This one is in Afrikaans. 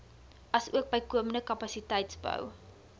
asook bykomende kapasiteitsbou